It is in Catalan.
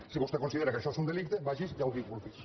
si vostè considera que això és un delicte vagi i autoinculpi’s